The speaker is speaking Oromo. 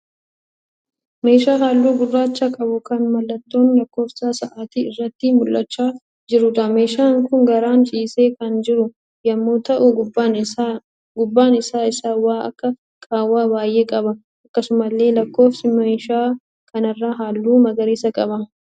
Meeshaa halluu gurraacha qabu kan mallattoon lakkoofsa sa'aatii irratti mul'achaa jiruudha. Meeshaan kun garaan ciisee kan jiru yemmuu ta'u gubbaan isaa isaa waan akka qaawwaa baayyee qaba. Akkasumallee lakkoofsi meeshaa kanarraa halluu magariisa qaba.